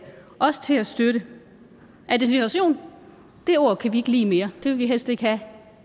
også til at støtte integration det ord kan vi ikke lide mere vil vi helst ikke have